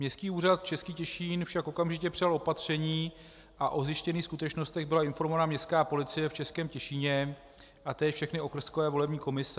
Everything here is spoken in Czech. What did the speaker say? Městský úřad Český Těšín však okamžitě přijal opatření a o zjištěných skutečnostech byla informována Městská policie v Českém Těšíně a též všechny okrskové volební komise.